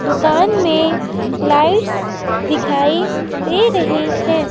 दुकान में लाइट्स दिखाई दे रही हैं।